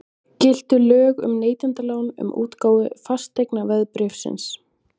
Giltu lög um neytendalán um útgáfu fasteignaveðbréfsins?